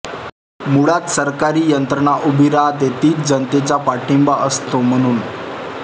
मुळांत सरकारी यंत्रणा उभी रहाते तीच जनतेचा पाठिंबा असतो म्हणून